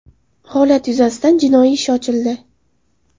Holat yuzasidan jinoiy ish ochildi.